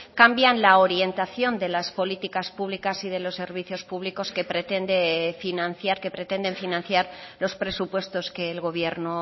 cambian la orientación de las políticas públicas y de los servicios públicos que pretende financiar que pretenden financiar los presupuestos que el gobierno